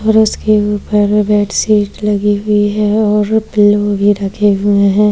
और उस के ऊपर में बेडशीट लगी हुई है और पिल्लो भी रखे हुए हैं।